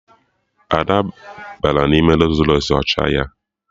Ada bịara n'ime Rols Rọys ọcha ya